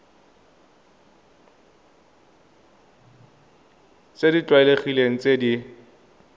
tse di tlwaelegileng tse di